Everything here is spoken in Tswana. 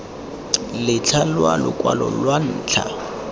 letlha la lokwalo lwa ntlha